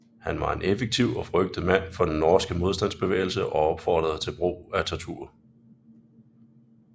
Han var en effektiv og frygtet mand for den norske modstandsbevægelse og opfordrede til brug af tortur